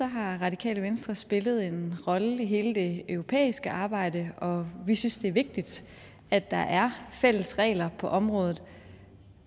har radikale venstre spillet en rolle i hele det europæiske arbejde og vi synes det er vigtigt at der er fælles regler på området